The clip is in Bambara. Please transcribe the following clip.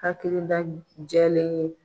Hakili jɛlen don.